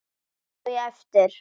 Hvað á ég eftir?